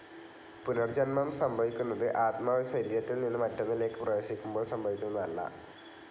പുനർജ്ജന്മം സംഭവിക്കുന്നത് ആത്മാവ് ഒരു ശരീരത്തിൽ നിന്ന് മറ്റൊന്നിലേക്ക് പ്രവേശിക്കുമ്പോൾ സംഭവിക്കുന്നതല്ല.